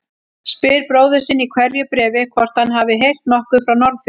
Spyr bróður sinn í hverju bréfi hvort hann hafi heyrt nokkuð frá Norðfirði.